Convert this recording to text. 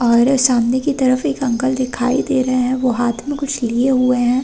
और सामने की तरफ एक अंकल दिखाई दे रहे हैं। वो हाथ में कुछ लिए हुए है।